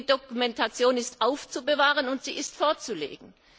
Die Dokumentation ist aufzubewahren, und sie ist vorzulegen.